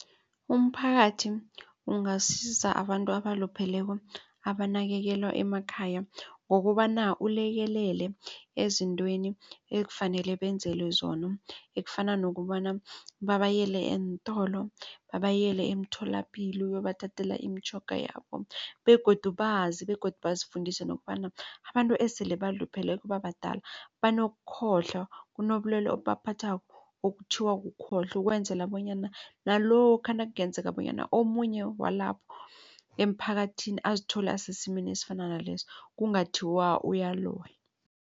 Umphakathi ungasiza abantu abalupheleko abanakekelwa emakhaya ngokobana ulekelele ezintweni ekufanele benzelwe zona. Ekufana nokobana babayele eentolo, babayele emtholapilo uyobathathela imitjhoga yabo begodu bazi begodu bazifundise nokobana abantu esele balupheleko babadala banokukhohlwa kunobulwelwe obubaphathako okuthiwa kukhohlwa ukwenzela bonyana nalokha nakungenzeka bonyana omunye walapho emphakathini azithole asesimeni esifana naleso kungathiwa uyaloya.